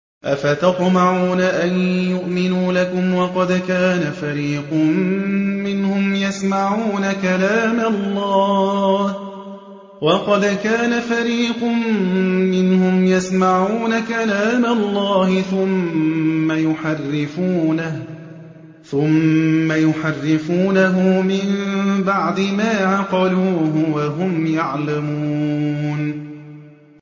۞ أَفَتَطْمَعُونَ أَن يُؤْمِنُوا لَكُمْ وَقَدْ كَانَ فَرِيقٌ مِّنْهُمْ يَسْمَعُونَ كَلَامَ اللَّهِ ثُمَّ يُحَرِّفُونَهُ مِن بَعْدِ مَا عَقَلُوهُ وَهُمْ يَعْلَمُونَ